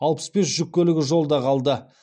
алпыс бес жүк көлігі жолда қалды